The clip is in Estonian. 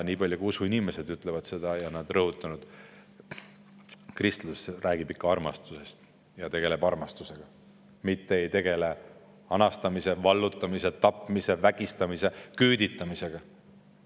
Usuinimesed ütlevad ja on rõhutanud, kristlus räägib ikka armastusest ja tegeleb armastusega, mitte ei tegele anastamise, vallutamise, tapmise, vägistamise ja küüditamisega.